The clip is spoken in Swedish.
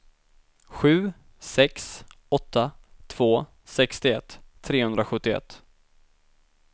sju sex åtta två sextioett trehundrasjuttioett